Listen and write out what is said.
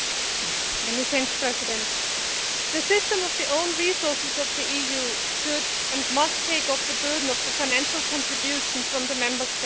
Mr President, the system of own resources of the EU should and must take off the burden of the financial contribution from the Member States.